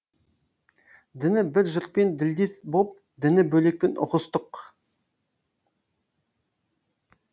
діні бір жұртпен ділдес боп діні бөлекпен ұғыстық